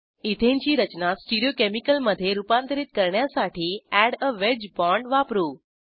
ethane ची रचना stereochemical मधे रूपांतरित करण्यासाठी एड आ वेज बॉण्ड वापरू